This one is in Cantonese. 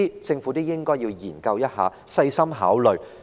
政府應該研究及細心考慮上述建議。